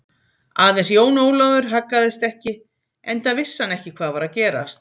Aðeins Jón Ólafur haggaðist ekki, enda vissi hann ekki hvað var að gerast.